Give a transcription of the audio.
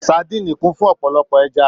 Sadíìnì kún fún ọ̀pọ̀lọpọ̀ ẹja